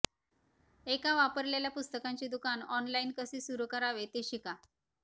एक वापरलेल्या पुस्तकांचे दुकान ऑनलाइन कसे सुरू करावे ते शिका